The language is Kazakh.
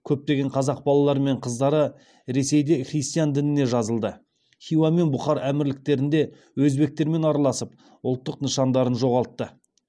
көптеген қазақ балалары мен қыздары ресейде христиан дініне жазылды хиуа мен бұхар әмірліктерінде өзбектермен араласып ұлттық нышандарын жоғалтты